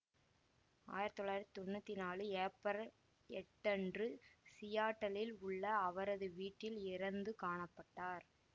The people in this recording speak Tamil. ஆயிரத்தி தொள்ளாயிரத்தி தொன்னூத்தி நாலு ஏப்பரல் எட்டன்று சியாட்டிலில் உள்ள அவரது வீட்டில் இறந்து காண பட்டார்